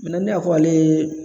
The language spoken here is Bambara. ne ya fɔ ale ye